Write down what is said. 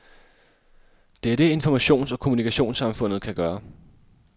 Det er det, informations- og kommunikationssamfundet kan gøre.